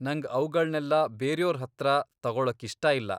ನಂಗ್ ಅವ್ಗಳ್ನೆಲ್ಲ ಬೇರ್ಯೋರ್ ಹತ್ರ ತಗೊಳಕ್ಕಿಷ್ಟ ಇಲ್ಲ.